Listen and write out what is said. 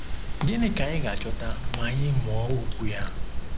Gịnị ka anyị ga-achọta ma anyị mụọ okwu ya?